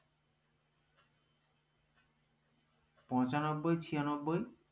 পঁচানব্বই ছিয়ানব্বই